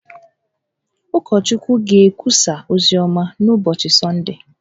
Ụkọchukwu ga-ekwusa oziọma n’ụbọchị Sọndee